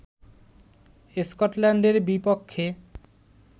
স্কটল্যান্ডের বিপক্ষে